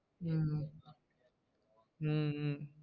ஹம் ஹம் ஹம்